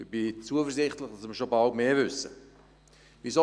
Ich bin zuversichtlich, dass wir schon bald mehr wissen werden.